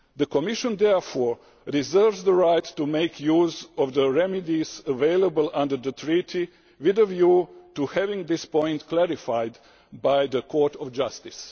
The Commission therefore reserves the right to make use of the remedies available under the Treaty with a view to having this point clarified by the Court of Justice.'